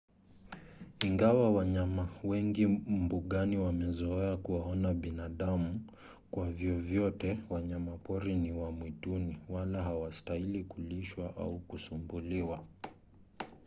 ingawa wanyama wengi mbugani wamezoea kuwaona wanadamu kwa vyovyote wanyapori ni wa mwituni wala hawastahili kulishwa au kusumbuliwa